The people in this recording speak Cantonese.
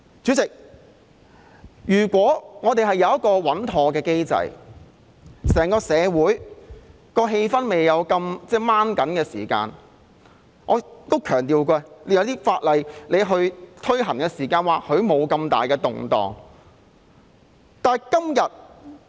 主席，如果我們有一個穩妥的機制，整個社會的氣氛不是那麼繃緊，在推行某些法例時或許便不會引起那麼大的動盪。